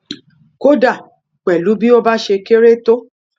kódà pẹlú bí ó bá ṣe kéré tó